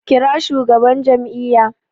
Kira shugaban jam'iyya!